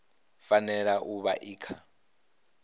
fanela u vha i kha